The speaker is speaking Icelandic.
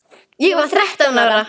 Ég var þrettán ára.